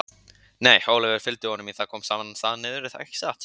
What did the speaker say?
Nei, Ólafur fylgdi honum, það kom í sama stað niður, ekki satt?